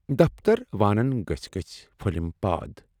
دفتر وانَن گٔژھۍ گٔژھۍ پھٔلِم پاد۔